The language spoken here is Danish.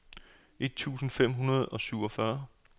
et tusind fem hundrede og syvogfyrre